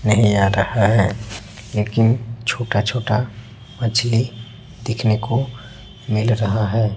नहीं आ रहा है लेकिन छोटा छोटा मछली देखने को मिल रहा है।